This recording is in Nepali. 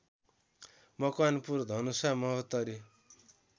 मकवानपुर धनुषा महोत्तरी